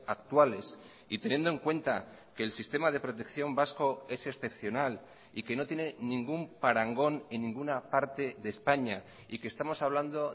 actuales y teniendo en cuenta que el sistema de protección vasco es excepcional y que no tiene ningún parangón en ninguna parte de españa y que estamos hablando